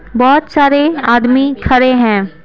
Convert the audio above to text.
बहुत सारे आदमी खड़े हैं।